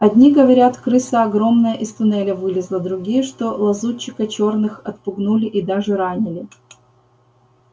одни говорят крыса огромная из туннеля вылезла другие что лазутчиков чёрных отпугнули и даже ранили